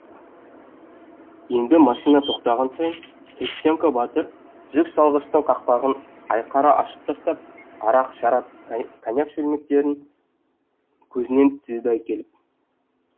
енді машина тоқтаған сайын христенко батыр жүк салғыштың қақпағын айқара ашып тастап арақ шарап коньяк шөлмектерін көзінен тізеді ай келіп